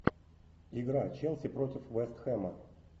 игра челси против вест хэма